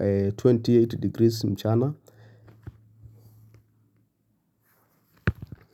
28 degrees mchana.